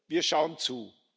Wir schauen zu.